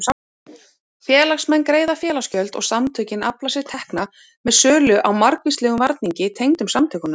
Félagsmenn greiða félagsgjöld og samtökin afla sér tekna með sölu á margvíslegum varningi tengdum samtökunum.